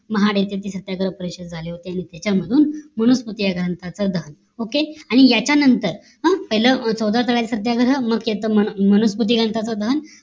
महाड येथे ती सत्याग्रह परिषद झाले होते आणि त्यांच्यामधून माणूसपती ग्रंथाच दहन OKAY आणि याच्या नंतर पहिल्या चौदा तळ सत्याग्रह मग मानस्पती ग्रंथाचं दहन